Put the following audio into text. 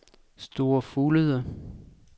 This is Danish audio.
Store Fuglede